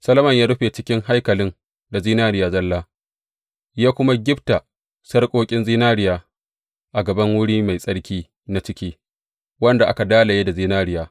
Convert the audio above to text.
Solomon ya rufe cikin haikalin da zinariya zalla, ya kuma gifta sarƙoƙin zinariya a gaban wuri mai tsarki na ciki, wanda aka dalaye da zinariya.